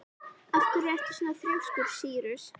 Af hverju ertu svona þrjóskur, Sýrus?